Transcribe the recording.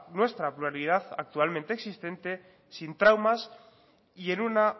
nuestra pluralidad actualmente existente sin traumas y en una